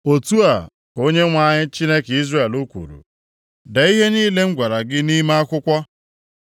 “Otu a ka Onyenwe anyị, Chineke Izrel kwuru, ‘Dee ihe niile m gwara gị nʼime akwụkwọ.